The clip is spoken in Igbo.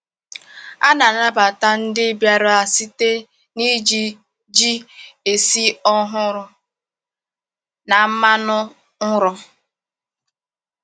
A na-anabata ndị bịara site n’iji ji esi ọhụrụ na mmanụ ụrọ.